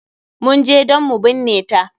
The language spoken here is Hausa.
Mun je dan mu binne ta.